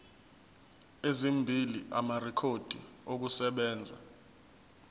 ezimbili amarekhodi okusebenza